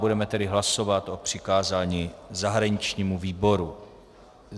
Budeme tedy hlasovat o přikázání zahraničnímu výboru.